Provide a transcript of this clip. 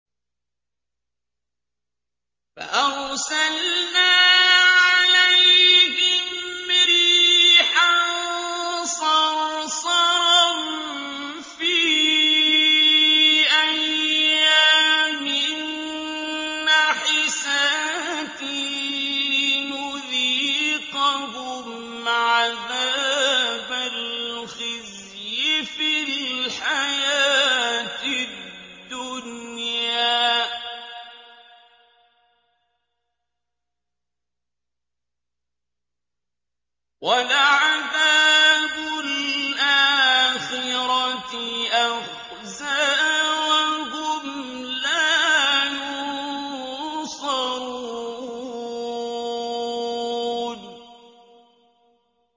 فَأَرْسَلْنَا عَلَيْهِمْ رِيحًا صَرْصَرًا فِي أَيَّامٍ نَّحِسَاتٍ لِّنُذِيقَهُمْ عَذَابَ الْخِزْيِ فِي الْحَيَاةِ الدُّنْيَا ۖ وَلَعَذَابُ الْآخِرَةِ أَخْزَىٰ ۖ وَهُمْ لَا يُنصَرُونَ